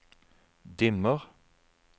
dimmer